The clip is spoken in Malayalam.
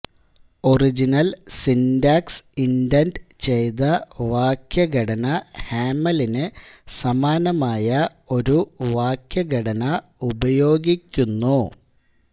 ഒറിജിനൽ സിന്റാക്സ് ഇൻഡന്റ് ചെയ്ത വാക്യഘടന ഹാമലിന് സമാനമായ ഒരു വാക്യഘടന ഉപയോഗിക്കുന്നു